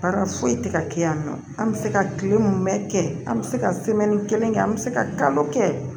Baara foyi tɛ ka kɛ yan nɔ an bɛ se ka kile mun bɛ kɛ an bɛ se ka kelen kɛ an bɛ se ka kalo kɛ